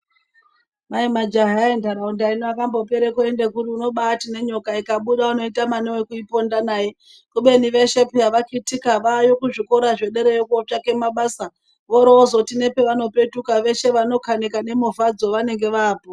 Kwai majaha entaraunda ini akambopere kuende kuri unobati nenyoka ikabuda unotamba newekuiponda naye kubeni veshe peya vakitika vaayo kuzvikora zvederayo kutsvake mabasa vorozoti nepavanopetuka veshe vanokanika nemovadzo vanenge vaapo.